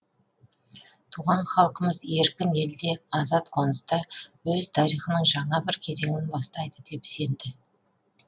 туған халқымыз еркін елде азат қоныста өз тарихының жаңа бір кезеңін бастайды деп сенді